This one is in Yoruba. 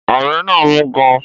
Ọ̀bẹ náà mú gan-an